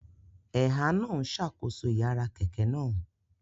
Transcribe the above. Ẹ̀há náà ń ṣàkóso ìyára kẹ̀kẹ́ náà